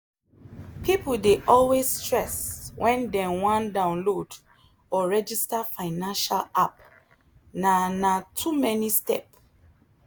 people dey always stress when dem wan download or register financial app na na too many step